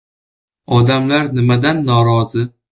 Odamlar nimadan norozi?